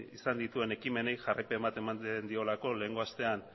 izan dituen ekimenei jarraipen bat ematen diolako lehengo astean